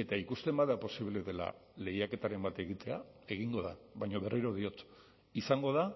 eta ikusten bada posible dela lehiaketaren bat egitea egingo da baina berriro diot izango da